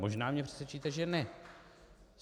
Možná mě přesvědčíte že ne.